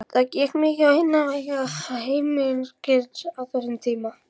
Það gekk mikið á innan veggja heimilisins á þessum tíma.